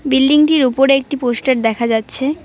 Building -টির উপরে একটি পোস্টার দেখা যাচ্ছে।